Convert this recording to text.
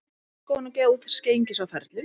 Ég óska honum góðs gengis á ferlinum